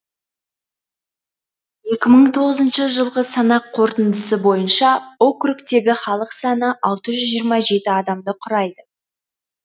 екі мың тоғызыншы жылғы санақ қорытындысы бойынша округтегі халық саны алты жүз жиырма жеті адамды құрайды